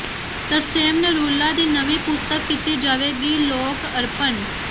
ਤਰਸੇਮ ਨਰੂਲਾ ਦੀ ਨਵੀਂ ਪੁਸਤਕ ਕੀਤੀ ਜਾਵੇਗੀ ਲੋਕ ਅਰਪਣ